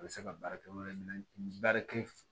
A bɛ se ka baara kɛ yɔrɔ wɛrɛ min na baarakɛ